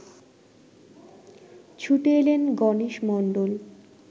ছুটে এলেন গণেশ মণ্ডল